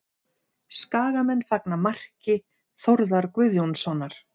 Skagamenn fagna marki Þórðar Guðjónssonar